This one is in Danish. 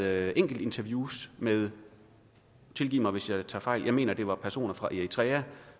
af enkelte interviews med tilgiv mig hvis jeg tager fejl jeg mener det var personer fra eritrea